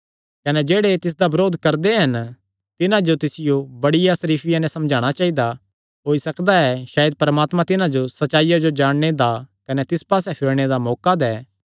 कने जेह्ड़े तिसदा बरोध करदे हन तिन्हां जो तिसियो बड़ी सरीफिया नैं समझाणा चाइदा होई सकदा ऐ सायद परमात्मा तिन्हां जो सच्चाईया जो जाणने दा कने तिस पास्से फिरणे दा मौका दैं